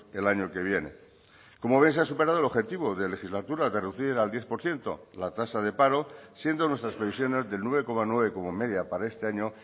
el año que viene como ven se ha superado el objetivo de legislatura de reducir al diez por ciento la tasa de paro siendo nuestras previsiones del nueve coma nueve como media para este año